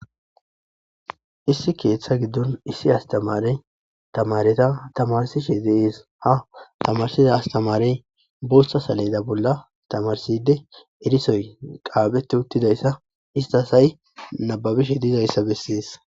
issi keeththa giddon issi astamarey tamareta tamarsishe deees ha tamarsiza astamarey booththa saleda bolla tamarside erisoy qaabetti uttidayssa istasay nababishe diizayssa bessees